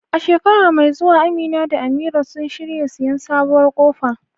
A shekara mai zuwa Amina da Amira sun shirya siyan sabuwar kofa